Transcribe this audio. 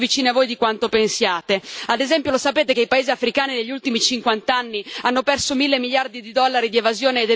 Ad esempio, lo sapete che i paesi africani negli ultimi cinquant'anni hanno perso mille miliardi di dollari di evasione ed elusione fiscale delle multinazionali?